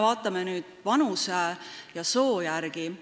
Vaatame nüüd vanuse ja soo järgi.